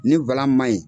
Ni ma ɲi